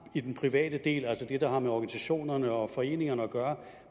i den private del altså det der har med organisationerne og foreningerne at gøre